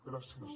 gràcies